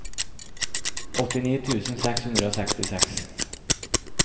åttini tusen seks hundre og sekstiseks